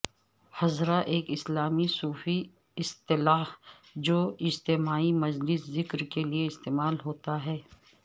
حضرہ ایک اسلامی صوفی اصطلاح جو اجتماعی مجلس ذکر کے لئےاستعمال ہوتا ہے